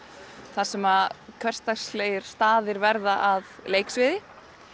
þar sem hversdagslegir staðir verða að leiksviði